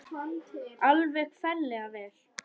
Alveg ferlega vel.